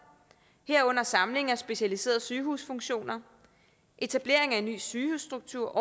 herunder samling af specialiserede sygehusfunktioner etablering af en ny sygehusstruktur